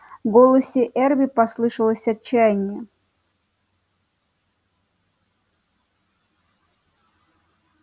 в голосе эрби послышалось отчаяние